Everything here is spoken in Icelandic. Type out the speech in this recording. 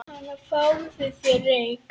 Hana, fáðu þér reyk